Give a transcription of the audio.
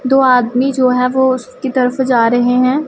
दो आदमी जो हैं वो उसकी तरफ जा रहे हैं।